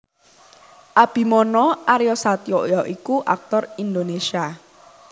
Abimana Aryasatya ya iku aktor Indonesia